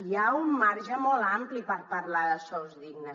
hi ha un marge molt ampli per parlar de sous dignes